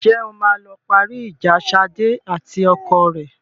Ǹjẹ́ o máa lọ parí ìjà Ṣadé àti ọkọ rẹ?